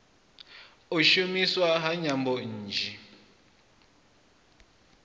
u shumiswa ha nyambo nnzhi